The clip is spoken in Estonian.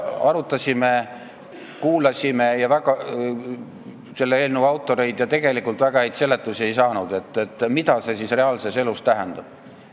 Arutasime ja kuulasime eelnõu autoreid, kuid väga häid seletusi ei saanud, et mida see reaalses elus tähendab.